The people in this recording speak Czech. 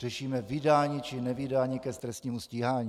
Řešíme vydání či nevydání k trestnímu stíhání.